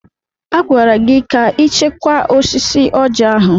A gwara gị ka ị chekwaa osisi Ọjị ahụ!